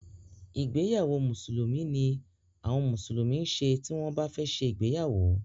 ìgbéyàwó mùsùlùmí ni àwọn mùsùlùmí ń ṣe tí bá fẹ́ ṣe igbéyàwó.